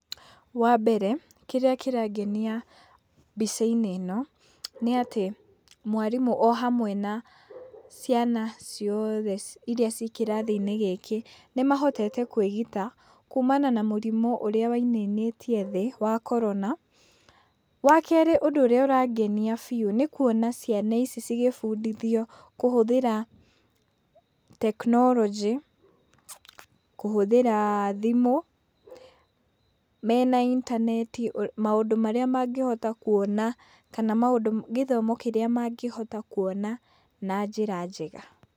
Wa mbere kĩrĩa kĩrangenia mbica-inĩ ĩno, nĩatĩ mwarimũ o hamwe na ciana ciothe iria ciĩ kĩrathi-inĩ gĩkĩ, nĩmahotete kwĩgita kumana na mũrimũ ũrĩa wainainĩtie thĩ wa korona. Wa kerĩ, ũndũ ũrĩa ũrangenia biũ, nĩ kuona ciana ici cigĩbundithio kũhũthĩra tekinoronjĩ, kũhũthĩra thimũ, mena intaneti, maũndũ marĩa mangĩhota kuona kana maũndũ gĩthomo kĩrĩa mangĩhota kuona na njĩra njega.